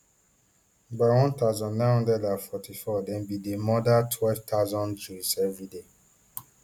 by one thousand, nine hundred and forty-four dem bin dey murder twelve thousand jews evriday